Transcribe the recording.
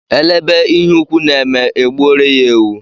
Elebe ihe ukwù na-eme e gbuoro ya ewu.